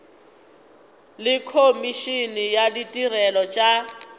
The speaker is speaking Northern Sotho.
le komišene ya ditirelo tša